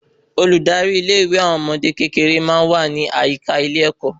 Olùdarí ilé ìwé àwọn ọmọdé kékeré máa n wa ni àyíká ilé ẹkọ